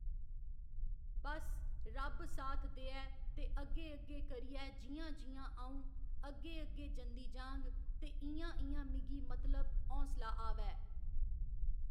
बस रब्ब साथ देऐ ते अग्गे अग्गे करियै जि'यां जि'यां अ'ऊं अग्गे अग्गे जंदी जाह्ङ ते इ'यां इ'यां मिगी मतलब हौसला आवै।